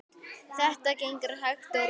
Þetta gengur hægt og rólega.